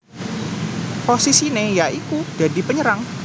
Posisine ya iku dadi penyerang